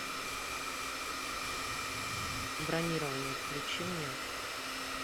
бронирование включи мне